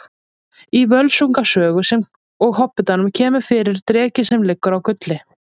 Í Völsunga sögu sem og Hobbitanum kemur fyrir dreki sem liggur á gulli.